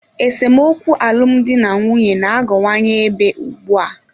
Esemokwu n'alụmdi na nwunye na-aghọwanye ebe ugbu a.